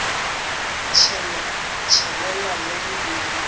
tshelela le ge e le